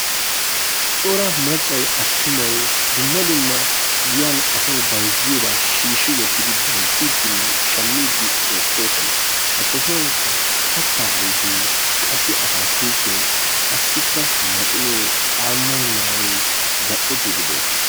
Cora maccay attumay dumma dumma giyan asawu bayzziyobaa shiishshibwottidi bayzziiddinne shammiidi beettoosona. Ha sohuwankka kattaa ayfee qassi ataakkiltee qassikka maxinee caammay maayoy zal''ettiidi beettees.